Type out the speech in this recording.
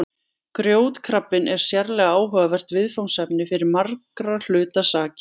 Grjótkrabbinn er sérlega áhugavert viðfangsefni fyrir margra hluta sakir.